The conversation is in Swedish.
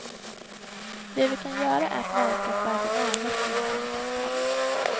Det vi kan göra är att verka för att en avveckling kommer till stånd.